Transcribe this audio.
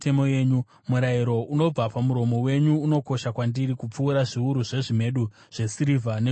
Murayiro unobva pamuromo wenyu unokosha kwandiri, kupfuura zviuru zvezvimedu zvesirivha negoridhe.